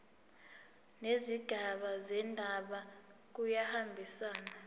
nezigaba zendaba kuyahambisana